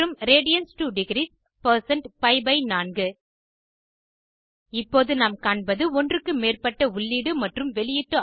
மற்றும் radians to degrees percent pi by 4 பி4 இப்போது நாம் காண்பது ஒன்றுக்கு மேற்பட்ட உள்ளீடு மற்றும் வெளியீட்டு